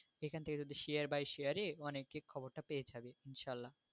এখান থেকে যদি share by share এ অনেকে খবরটা পেয়ে যাবে ইনশাল্লাহ।